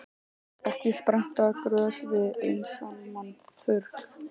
Ekki spretta grös við einsamlan þurrk.